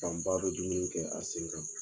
Fan ba bɛ dumuni kɛ a sen kan.